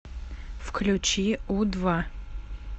включи у два